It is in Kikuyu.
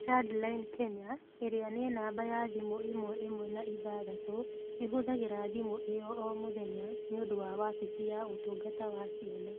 ChildLine Kenya ĩrĩa nĩ namba ya thimũ ĩmwe ĩmwe na ithathatũ ĩhũthagĩra thimũ ĩyo o mũthenya nĩ ũndũ wa wabici ya Ũtungata wa Ciana.